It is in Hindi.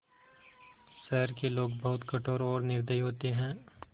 शहर के लोग बहुत कठोर और निर्दयी होते हैं